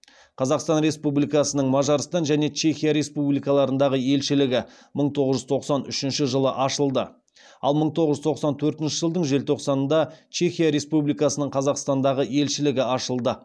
қазақстан республикасының мажарстан және чехия республикаларындағы елшілігі мың тоғыз жүз тоқсан үшінші жылы ашылды ал мың тоғыз жүз тоқсан төртінші жылдың желтоқсанында чехия республикасының қазақстандағы елшілігі ашылды